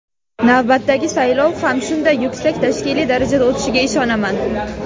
Navbatdagi saylov ham shunday yuksak tashkiliy darajada o‘tishiga ishonaman.